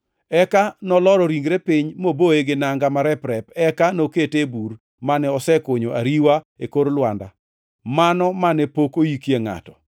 Eka noloro ringre piny moboye gi nanga marep-rep eka nokete e bur mane osekunyo ariwa e kor lwanda, mano mane pok oyikie ngʼato